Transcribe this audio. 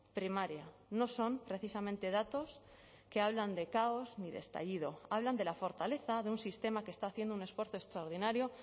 primaria no son precisamente datos que hablan de caos ni de estallido hablan de la fortaleza de un sistema que está haciendo un esfuerzo extraordinario